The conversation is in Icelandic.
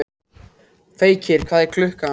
Feykir, hvað er klukkan?